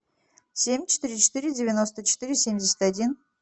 семь четыре четыре девяносто четыре семьдесят один